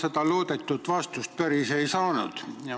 Ma loodetud vastust päris ei saanud.